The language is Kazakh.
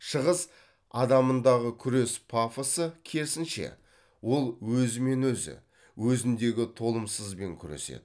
шығыс адамындағы күрес пафосы керісінше ол өзімен өзі өзіндегі толымсызбен күреседі